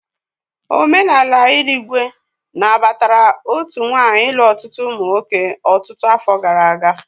Omenala Irigwe nabatara otu nwanyị ịlu ọtụtụ ụmụ nwoke ọtụtụ afọ gara aga.